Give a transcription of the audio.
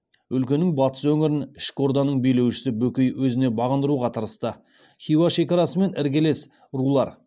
өлкенің батыс өңірін ішкі орданың билеушісі бөкей өзіне бағындыруға тырысты хиуа шекарасымен іргелес рулар